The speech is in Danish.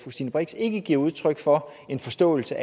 stine brix ikke giver udtryk for en forståelse